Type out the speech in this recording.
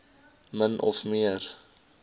min of meer